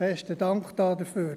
Besten Dank dafür.